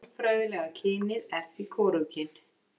Málfræðilega kynið er því hvorugkyn.